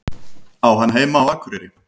Á hann heima á Akureyri?